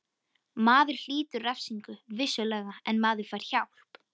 Maður hlýtur refsingu, vissulega, en maður fær hjálp.